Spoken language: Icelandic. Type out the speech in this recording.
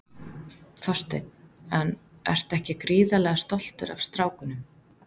Þorsteinn: En ertu ekki gríðarlega stoltur af strákunum?